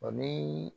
Ɔ ni